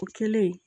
O kɛlen